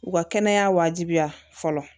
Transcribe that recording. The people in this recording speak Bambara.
U ka kɛnɛya wajibiya fɔlɔ